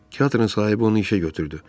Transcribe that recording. Teatrın sahibi onu işə götürdü.